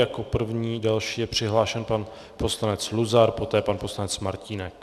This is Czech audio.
Jako první další je přihlášen pan poslanec Luzar, poté pan poslanec Martínek.